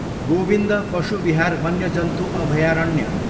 गोविन्द पशु विहार वन्यजन्तु अभयारण्य